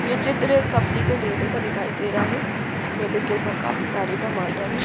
ये चित्र एक सब्जी के ठेले का दिखाई दे रहा है ठेले के ऊपर काफी सारे टमाटर हैं।